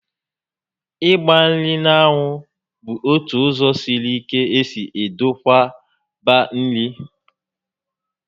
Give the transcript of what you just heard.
Ịgba nri n'anwu bụ ótụ ụzọ sịrị ike esi edokwaba nri